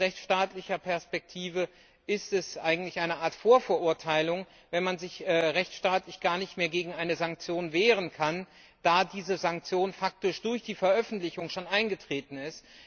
Aus rechtsstaatlicher Perspektive ist es eigentlich eine Art Vorverurteilung, wenn man sich rechtsstaatlich gar nicht mehr gegen eine Sanktion wehren kann, da diese Sanktion durch die Veröffentlichung faktisch bereits eingetreten ist.